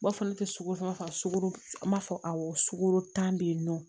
N b'a fɔ ne tɛ sogo san ka sogo m'a fɔ awɔ sukoro tan bɛ yen nɔ